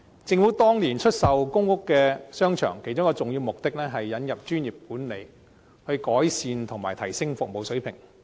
政府當年出售公屋商場，其中一個重要目的是引入專業管理，以改善及提升服務水平。